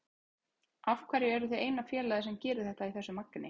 Af hverju eruð þið eina félagið sem gerir þetta í þessu magni?